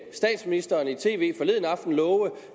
statsministeren i tv forleden aften love